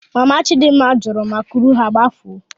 Mana Chidimma jụrụ ma kuru ha gbafuo.